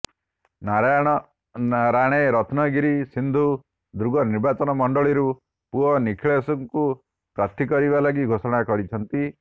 Narayan Rane Ratnagiri Sindhudurg ନିର୍ବାଚନ ମଣ୍ଡଳୀରୁ ପୁଅ ନୀଲେଶଙ୍କୁ ପ୍ରାର୍ଥୀ କରିବା ଲାଗି ଘୋଷଣା କରିଛନ୍ତି